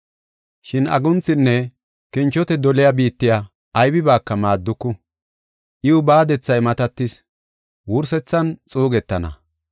Shin agunthinne kinchote doliya biittiya aybibaaka maadduku; iw baadethay matatis; wursethan xuugetana.